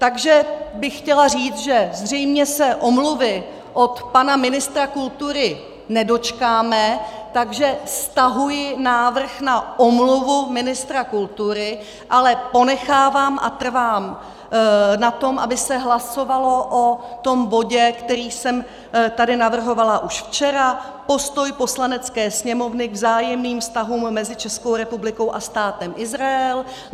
Takže bych chtěla říct, že zřejmě se omluvy od pana ministra kultury nedočkáme, takže stahuji návrh na omluvu ministra kultury, ale ponechávám a trvám na tom, aby se hlasovalo o tom bodě, který jsem tady navrhovala už včera - Postoj Poslanecké sněmovny k vzájemným vztahům mezi Českou republikou a Státem Izrael.